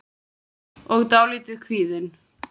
og dálítið kvíðin.